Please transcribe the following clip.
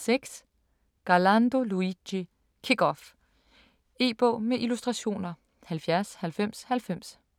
6. Garlando, Luigi: Kick off E-bog med illustrationer 709090